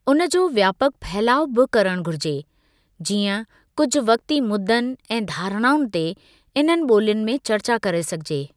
उनजो व्यापकु फहिलाउ बि करणु घुरिजे, जीअं कुझु वक़्ती मुद्दनि ऐं धारणाउनि ते इन्हनि ॿोलियुनि में चर्चा करे सघिजे।